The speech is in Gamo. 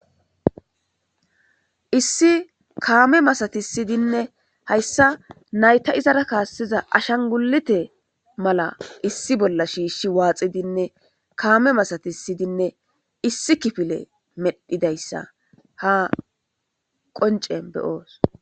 Issi kaame masatis siydinne hayssa nayta izara kaasesiza ashan gulite mala issi bolla shiishi waaxidinne kaame masatis sidinne issi kifile medhidayssa ha qoncen beyoos.